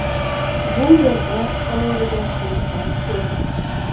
Bu yerda ovoragarchiliklar ko‘p.